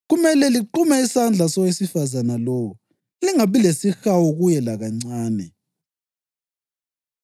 kumele liqume isandla sowesifazane lowo. Lingabi lesihawu kuye lakancane.